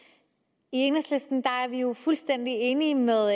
enhedslisten er vi jo fuldstændig enige med